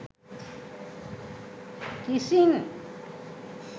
kissing